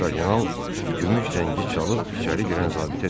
Kardinal gümüş zəngi çalıb içəri girən zabitə dedi.